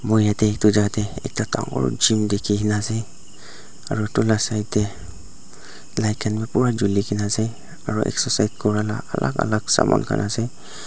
moi yatae edu jaka tae ekta dangor gym dikhina ase aro edu la side tae light khan bi pura julina ase aro excercise kurala alak alak saman khan ase.